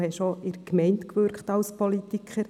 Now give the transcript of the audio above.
Sie wirkten auch in der Gemeinde als Politiker.